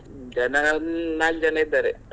ಜನ ಒಂದ್ ನಾಲ್ಕ ಜನ ಇದಾರೆ.